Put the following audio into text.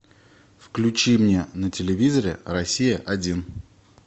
включи мне на телевизоре россия один